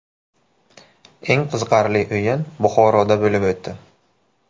Eng qiziqarli o‘yin Buxoroda bo‘lib o‘tdi.